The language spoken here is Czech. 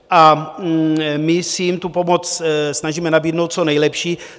A my se jim tu pomoc snažíme nabídnout co nejlepší.